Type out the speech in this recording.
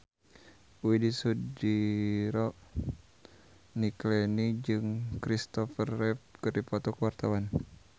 Widy Soediro Nichlany jeung Christopher Reeve keur dipoto ku wartawan